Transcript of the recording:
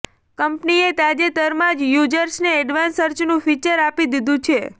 કંપનીએ તાજેતરમાં જ યૂઝર્સને એડવાન્સ સર્ચનું ફીચર આપી દીધું છે